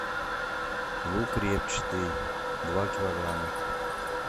лук репчатый два килограмма